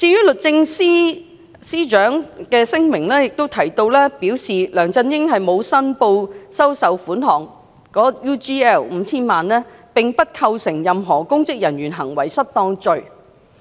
律政司司長的聲明提及梁振英沒有申報收受 UGL 5,000 萬元，並不構成任何公職人員行為失當罪。